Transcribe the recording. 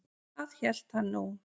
Það hélt hann nú.